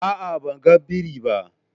A'a, ban gan biri ba.